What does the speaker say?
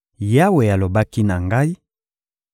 Yawe alobaki na ngai: